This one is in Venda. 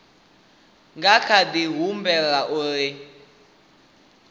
nga kha di humbela uri